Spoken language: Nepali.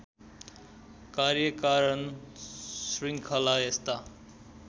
कार्यकारण शृङ्खला यस्ता